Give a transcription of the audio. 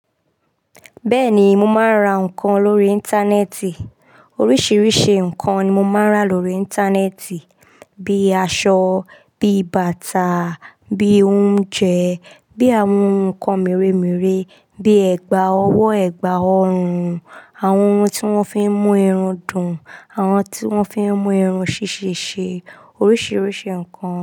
Bẹ́ẹ̀ni, mo máa ń ra nǹkan lórí Íńtánẹ́ẹ̀tì. Oríṣìíríṣìí nǹkan ni mo máa ń rà lórí Íńtánẹ́ẹ̀tì, bí i aṣọ, bí i bàtà, bí i oúnjẹ, bí i àwọn nǹkan mìre-mìre, bí i ẹ̀gbà ọwọ́, ẹ̀gbà ọrùn, àwọn ohun tí wọ́n fi ń mú irun dùn, àwọn ohun tí wọ́n fi ń mú irun ṣíṣe, oríṣìíríṣìí nǹkan.